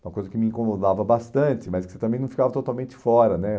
Uma coisa que me incomodava bastante, mas que você também não ficava totalmente fora, né?